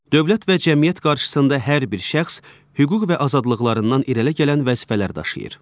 Dövlət və cəmiyyət qarşısında hər bir şəxs hüquq və azadlıqlarından irəli gələn vəzifələr daşıyır.